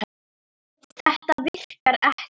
Þetta virkar ekki.